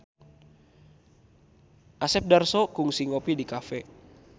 Asep Darso kungsi ngopi di cafe